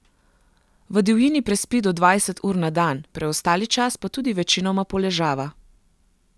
V divjini prespi do dvajset ur na dan, preostali čas pa tudi večinoma poležava.